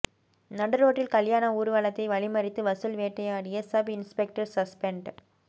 நடு ரோட்டில் கல்யாண ஊர்வலத்தை வழிமறித்து வசூல் வேட்டையாடிய சப் இன்ஸ்பெக்டர் சஸ்பெண்ட்